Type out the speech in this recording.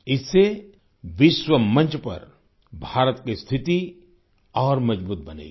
इससे विश्व मंच पर भारत की स्थिति और मज़बूत बनेगी